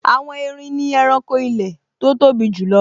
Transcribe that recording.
Àwọn erin ni ẹranko ilẹ̀ tó tóbi jùlọ